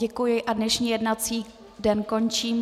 Děkuji a dnešní jednací den končím.